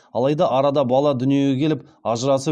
алаи да арада бала дүниеге келіп ажырасып